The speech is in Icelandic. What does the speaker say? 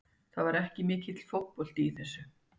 Það var ekki mikill fótbolti í þessu.